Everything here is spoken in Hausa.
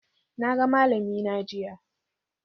Na ga malamina jiya.